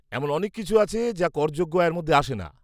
এমন অনেক কিছু আছে যা করযোগ্য আয়ের মধ্যে আসে না।